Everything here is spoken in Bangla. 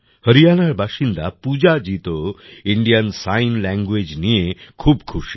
হরিয়ানার বাসিন্দা পূজাজি তো ইন্ডিয়ান সাইন ল্যাংগুয়েজ নিয়ে খুব খুশি